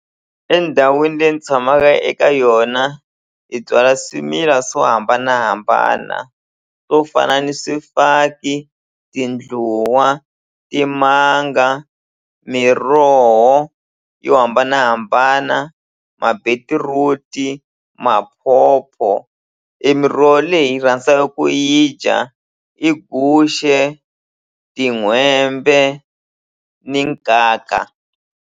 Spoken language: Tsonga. Endhawini leyi ni tshamaka eka yona hi byala swimila swo hambanahambana swo fana ni swifaki tindluwa timanga miroho yo hambanahambana ma-beetroot, mapopo e miroho leyi hi rhandzaka ku yi dya i guxe tin'hwembe ni nkaka.